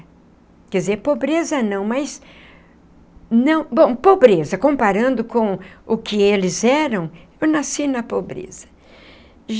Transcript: Quer dizer, pobreza não, mas não... Bom, pobreza, comparando com o que eles eram, eu nasci na pobreza.